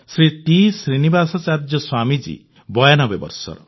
Shri T Srinivasacharya Swamiji 92 ବର୍ଷର